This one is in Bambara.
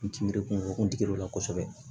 N ti miiri kuŋolo kungo la kosɛbɛ